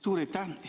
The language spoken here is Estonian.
Suur aitäh!